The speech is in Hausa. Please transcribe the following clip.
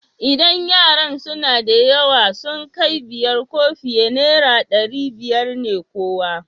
Idan yaran suna da yawa, sun kai biyar ko fiye, naira ɗari biyar ne kowa.